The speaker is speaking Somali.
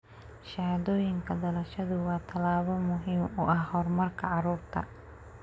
Shahaadooyinka dhalashadu waa tallaabo muhiim u ah horumarka carruurta.